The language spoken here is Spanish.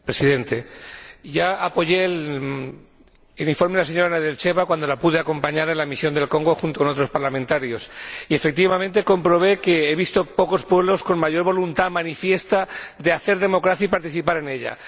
Señor Presidente, ya apoyé el informe de la señora Nedelcheva cuando la pude acompañar en la misión al Congo junto a otros parlamentarios y, efectivamente, comprobé que he visto pocos pueblos con mayor voluntad manifiesta de hacer democracia y participar en ella.